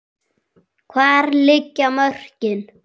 Hvar liggja mörkin?